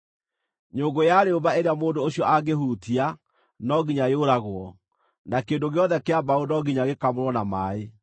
“ ‘Nyũngũ ya rĩũmba ĩrĩa mũndũ ũcio angĩhutia, no nginya yũragwo, na kĩndũ gĩothe kĩa mbaũ no nginya gĩkamũrwo na maaĩ.